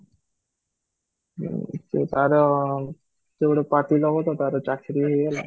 ମ୍ ତ ତାର ସେ ଗୋଟେ party ଦବ ତ ତାର ଗୋଟେ ଚାକିରୀ ହେଇଗଲା